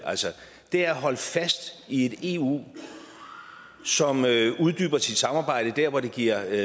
altså det er at holde fast i et eu som uddyber sit samarbejde der hvor det giver